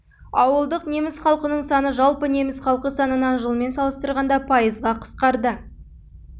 ауылдық неміс халқының саны жалпы неміс халқы санынан жылмен салыстырғанда пайызға қысқарды